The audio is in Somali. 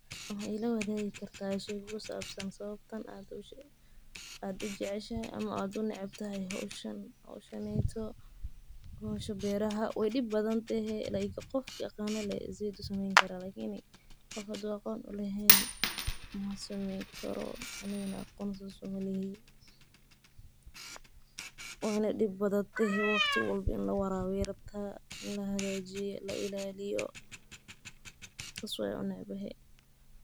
Maxaa waye sawabta aa u jeceshahay hoshan ama aa u necebtahay hosha beerahq wey dib badan tehe waqti walbo ini lawarabiyo ayey rabtaa sas waye mark.